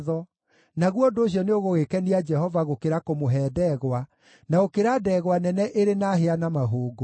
Naguo ũndũ ũcio nĩũgũgĩkenia Jehova gũkĩra kũmũhe ndegwa, na gũkĩra ndegwa nene ĩrĩ na hĩa na mahũngũ.